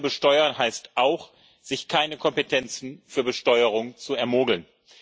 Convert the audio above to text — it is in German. Fair zu besteuern heißt auch, sich keine Kompetenzen für Besteuerung zu ermogeln.